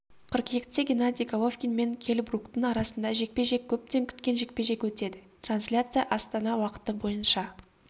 қыркүйекте геннадий головкин мен келл бруктың арасында жекпе-жек көптен күткен жекпе-жек өтеді трансляция астана уақыты бойынша